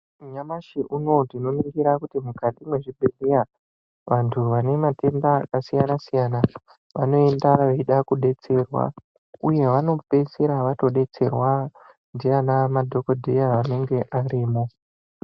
Nyamashi unou tinoringira kuti mukati mwezvibhedhleya mune vantu vane matenda akasiyana siyana vanoenda veida kudetserwa uye vanodetserwa ngemadhokodheya anenge arimwo.